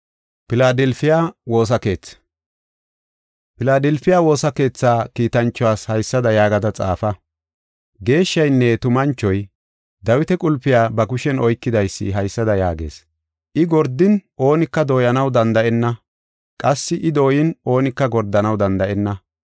“Filaadelfiya woosa keetha kiitanchuwas haysada yaagada xaafa. Geeshshaynne tumanchoy, Dawita qulpiya ba kushen oykidaysi, haysada yaagees: I gordin oonika dooyanaw danda7enna; qassi I dooyin oonika gordanaw danda7enna.